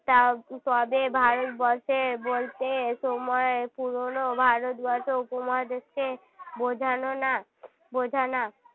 তা~ তবে ভারতবর্ষের বলতে সময় পুরনো ভারতবর্ষ উপমহাদেশকে বোঝানো না বোঝা না